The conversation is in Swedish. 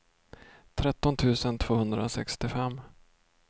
tretton tusen tvåhundrasextiofem